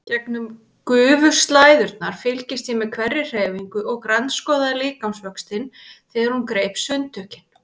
Gegnum gufuslæðurnar fylgdist ég með hverri hreyfingu og grandskoðaði líkamsvöxtinn þegar hún greip sundtökin.